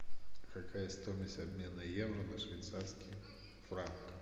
какая стоимость обмена евро на швейцарский франк